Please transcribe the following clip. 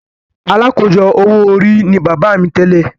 “Alákòójọ owó orí” ni bàbá mi tẹ́lẹ̀.